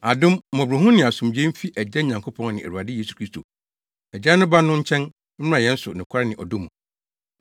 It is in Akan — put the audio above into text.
Adom, mmɔborɔhunu ne asomdwoe mfi Agya Nyankopɔn ne Awurade Yesu Kristo, Agya no Ba no nkyɛn, mmra yɛn so nokware ne ɔdɔ mu.